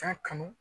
Taa kanu